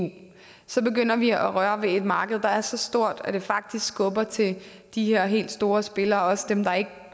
så begynder vi at røre ved et marked der er så stort at det faktisk skubber til de her helt store spillere også dem der ikke